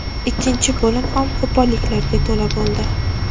Ikkinchi bo‘lim ham qo‘polliklarga to‘la bo‘ldi.